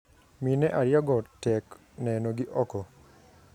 mine ariyo go tek neno gi oko.